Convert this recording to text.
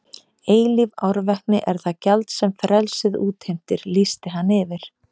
Eilíf árvekni er það gjald sem frelsið útheimtir lýsti hann yfir.